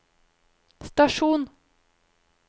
stasjon